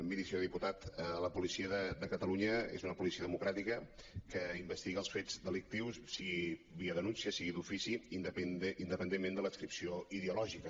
miri senyor diputat la policia de catalunya és una policia democràtica que investiga els fets delictius sigui via denúncia sigui d’ofici independentment de l’adscripció ideològica